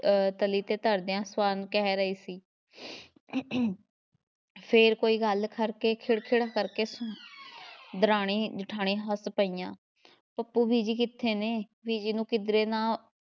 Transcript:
ਅਹ ਤਲੀ ‘ਤੇ ਧਰਦਿਆਂ ਸਵਰਨ ਕਹਿ ਰਹੀ ਸੀ ਫੇਰ ਕੋਈ ਗੱਲ ਕਰਕੇ ਖ਼ਿੜ ਖ਼ਿੜ ਕਰਕੇ ਦਰਾਣੀ ਜਠਾਣੀ ਹੱਸ ਪਈਆਂ ਪੱਪੂ ਬੀਜੀ ਕਿੱਥੇ ਨੇ? ਬੀਜੀ ਨੂੰ ਕਿਧਰੇ ਨਾ